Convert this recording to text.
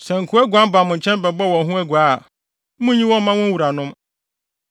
Sɛ nkoa guan ba mo nkyɛn bɛbɔ wɔn ho aguaa a, munnyi wɔn mma wɔn wuranom.